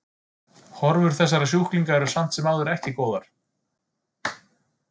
Horfur þessara sjúklinga eru samt sem áður eru ekki góðar.